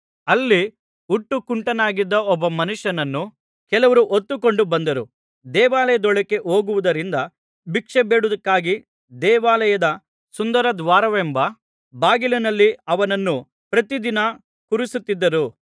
ಅಲ್ಲಿ ಹುಟ್ಟು ಕುಂಟನಾಗಿದ್ದ ಒಬ್ಬ ಮನುಷ್ಯನನ್ನು ಕೆಲವರು ಹೊತ್ತುಕೊಂಡು ಬಂದರು ದೇವಾಲಯದೊಳಕ್ಕೆ ಹೋಗುವವರಿಂದ ಭಿಕ್ಷೆಬೇಡುವುದಕ್ಕಾಗಿ ದೇವಾಲಯದ ಸುಂದರದ್ವಾರವೆಂಬ ಬಾಗಿಲಿನಲ್ಲಿ ಅವನನ್ನು ಪ್ರತಿದಿನ ಕೂರಿಸುತ್ತಿದ್ದರು